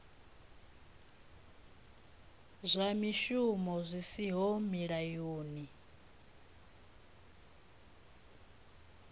zwa mishumo zwi siho mulayoni